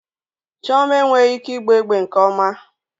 Chioma enweghị ike ịgba egbe nke ọma